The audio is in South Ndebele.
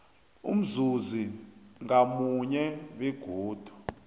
umzuzi ngamunye begodu